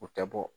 U tɛ bɔ